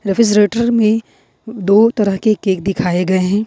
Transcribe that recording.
Refrigerator में दो तरह के केक दिखाए गए हैं।